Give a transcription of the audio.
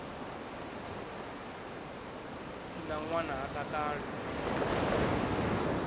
si na ṋwana ha takali